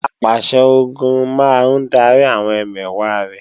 Apàṣẹ-Ogun máa ń darí àwọn ẹmẹ̀wà rẹ̀